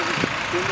Tamamilə düzdür.